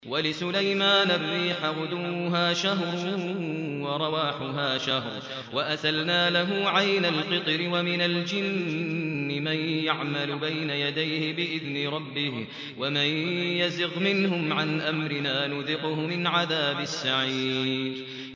وَلِسُلَيْمَانَ الرِّيحَ غُدُوُّهَا شَهْرٌ وَرَوَاحُهَا شَهْرٌ ۖ وَأَسَلْنَا لَهُ عَيْنَ الْقِطْرِ ۖ وَمِنَ الْجِنِّ مَن يَعْمَلُ بَيْنَ يَدَيْهِ بِإِذْنِ رَبِّهِ ۖ وَمَن يَزِغْ مِنْهُمْ عَنْ أَمْرِنَا نُذِقْهُ مِنْ عَذَابِ السَّعِيرِ